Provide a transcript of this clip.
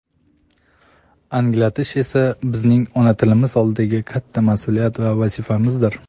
anglatish esa bizning ona tilimiz oldidagi katta mas’uliyat va vazifamizdir.